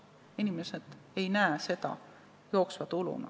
Inimesed ei näe seda jooksva tuluna.